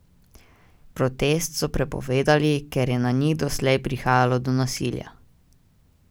Protest so prepovedali, ker je na njih doslej prihajalo do nasilja.